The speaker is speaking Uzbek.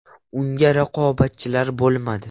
Unga raqobatchilar bo‘lmadi.